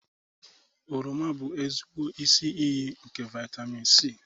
Oroma bụ ezigbo isi iyi nke vitamin C